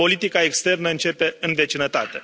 Politica externă începe în vecinătate.